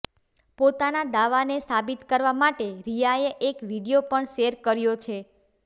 પોતાના દાવાને સાબિત કરવા માટે રિયાએ એક વીડિયો પણ શેર કર્યો છે